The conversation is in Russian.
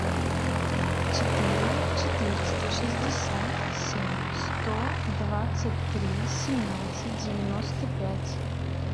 четыре четыреста шестьдесят семь сто двадцать три семнадцать девяносто пять